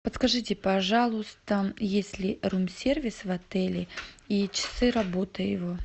подскажите пожалуйста есть ли рум сервис в отеле и часы работы его